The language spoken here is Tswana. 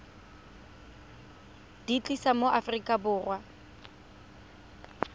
di tlisa mo aforika borwa